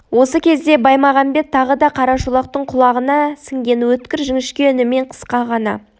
осы кезде баймағамбет тағы да қарашолақтың құлағына сіңген өткір жіңішке үнімен қысқа ғана